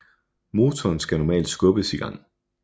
Motoren skal normalt skubbes i gang